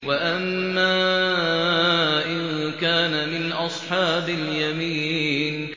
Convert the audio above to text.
وَأَمَّا إِن كَانَ مِنْ أَصْحَابِ الْيَمِينِ